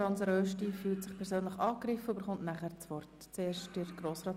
Hans Rösti fühlt sich persönlich angegriffen und hat danach das Wort.